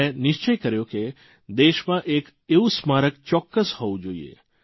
મે નિશ્ચય કર્યો કે દેશમાં એક એવું સ્મારક ચોક્કસ હોવું જોઇએ